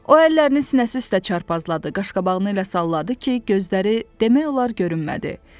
O əllərini sinəsi üstə çarpazladı, qaşqabağını elə salladı ki, gözləri demək olar görünmədi.